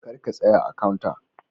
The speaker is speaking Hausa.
kar ka tsaya a "counter".